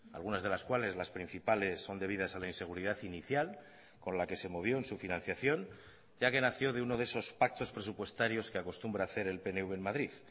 algunas de las cuales las principales son debidas a la inseguridad inicial con la que se movió en su financiación ya que nació de uno de esos pactos presupuestarios que acostumbra a hacer el pnv en madrid